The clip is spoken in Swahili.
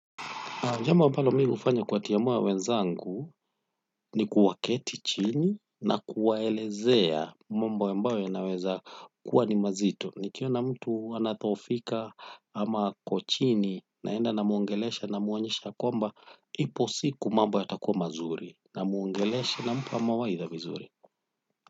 Jambo ambalo mi hufanya kuwatia moyo wenzangu ni kuwaketi chini na kuwaelezea mambo ambayo yanaweza kuwa ni mazito. Nikiona mtu anadhohofika ama ako chini naenda namuongelesha namuonyesha kwamba ipo siku mambo yatakua mazuri namuongelesha na mpa mawaidha vizuri.